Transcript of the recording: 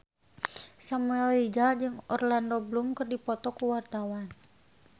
Samuel Rizal jeung Orlando Bloom keur dipoto ku wartawan